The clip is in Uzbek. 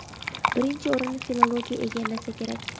birinchi o‘rinni filologiya egallasa kerak.